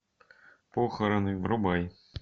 похороны врубай